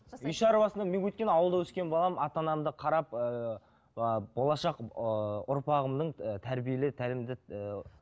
үй шаруасын мен өйткені ауылда өскен баламын ата анамды қарап ыыы болашақ ыыы ұрпағымның ыыы тәрбиелі тәлімді ііі